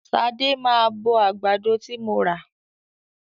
Ṣadé máa bọ àgbàdo ti mo rà.